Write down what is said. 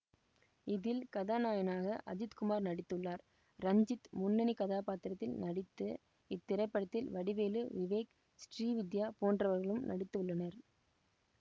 இதில் கதாநாயகனாக அஜித் குமார் நடித்துள்ளார் ரஞ்சித் முன்னனிக் கதாப்பாத்திரத்தில் நடித்த இந்த படத்தில் வடிவேலு விவேக் ஸ்ரீவித்யா போன்றவர்களும் நடித்துள்ளனர்